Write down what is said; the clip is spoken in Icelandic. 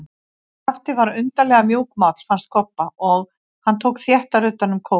Skapti var undarlega mjúkmáll, fannst Kobba, og hann tók þéttar utan um kópinn.